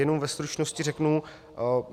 Jenom ve stručnosti řeknu.